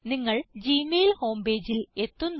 നിങ്ങൾ Gmail home pageൽ എത്തുന്നു